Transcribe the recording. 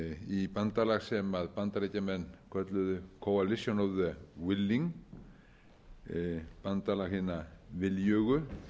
í bandalag sem bandaríkjamenn kölluðu coalition of the willing bandalag hina viljugu